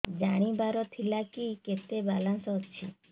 ଜାଣିବାର ଥିଲା କି କେତେ ବାଲାନ୍ସ ଅଛି